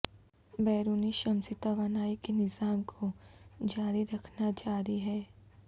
بیرونی شمسی توانائی کے نظام کو جاری رکھنا جاری ہے